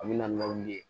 A bɛ na ni wuli ye